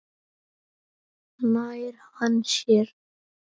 Nær hann sér?